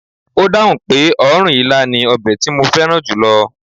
Ó dáhùn pé ọ̀run ilá ni ọbẹ̀ tí mo fẹ́ràn julo